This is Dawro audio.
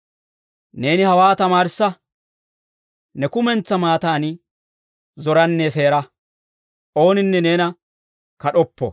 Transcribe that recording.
Neeni hawaa tamaarissa, ne kumentsaa maattaani zoranne seera; ooninne neena kad'oppo.